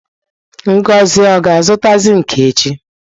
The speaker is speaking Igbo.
Ngozi o ga-azụta zinki echi?